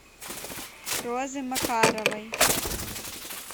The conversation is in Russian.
розы макаровой